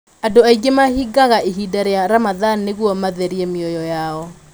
Andũ aingĩ mahingaga ihinda rĩa ramadhan nĩguo matherie mioyo yao.